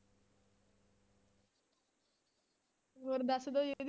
ਹੋਰ ਦੱਸ ਦਓ ਜੀ ਵੀ